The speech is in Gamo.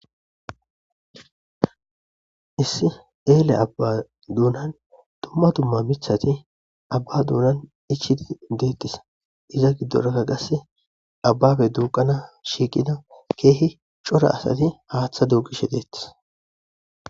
Issi eele abba duunan dumma dumma mithati abba duunan ichiti deettis iza giddoraka qasse abbabe duuqana shiiqida keehi cora asati haaththa duuqishe deettis.